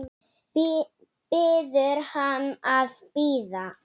Biður hann að bíða.